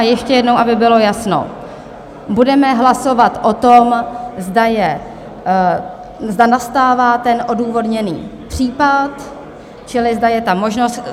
A ještě jednou, aby bylo jasno, budeme hlasovat o tom, zda nastává ten odůvodněný případ, čili zda je ta možnost.